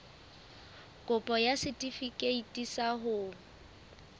kopo ya setefikeiti sa ho